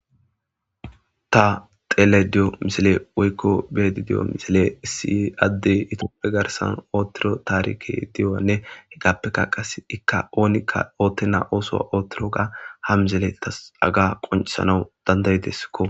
ta xeele diyo misale woykko beedi diyo misile issi adde itooppe garsan oottiro taarike di7onne hegappekka qas ikka oonikka ootte naa ooso oottoroga ha mizele tas aga qoncisanaw dandayideskko